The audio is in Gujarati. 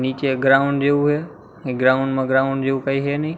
નીચે ગ્રાઉન્ડ જેવું હે એ ગ્રાઉન્ડ માં ગ્રાઉન્ડ જેવું કંઈ હે ની.